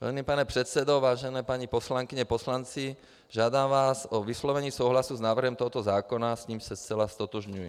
Vážený pane předsedo, vážené paní poslankyně, poslanci, žádám vás o vyslovení souhlasu s návrhem tohoto zákona, s nímž se zcela ztotožňuji.